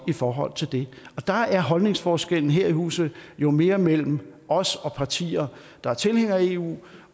i forhold til det der er holdningsforskellen her i huset jo mere mellem os og partier der er tilhængere af eu